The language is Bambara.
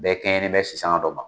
Bɛɛ kɛɲɛne bɛɛ sisan dɔ ma.